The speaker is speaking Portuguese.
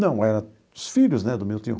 Não, era os filhos, né, do meu tio.